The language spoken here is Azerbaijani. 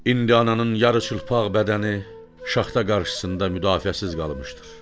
İndi ananın yarıçılpaq bədəni şaxta qarşısında müdafiəsiz qalmışdır.